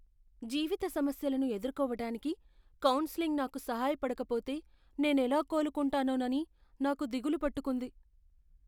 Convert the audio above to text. జీవిత సమస్యలను ఎదుర్కోవటానికి కౌన్సెలింగ్ నాకు సహాయపడకపోతే నేనెలా కోలుకుంటానోనని నాకు దిగులు పట్టుకుంది.